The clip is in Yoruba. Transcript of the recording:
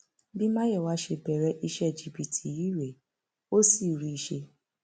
bí mayowa ṣe bẹrẹ iṣẹ jìbìtì yìí rèé ó sì rí i ṣe